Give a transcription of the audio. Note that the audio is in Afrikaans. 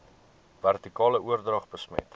vertikale oordrag besmet